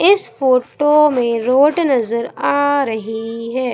इस फोटो में रोड नजर आ रही है।